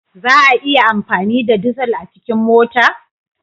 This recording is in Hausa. Za a iya amfani da dizal a cikin mota?